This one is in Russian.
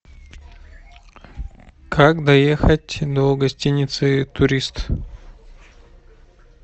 как доехать до гостиницы турист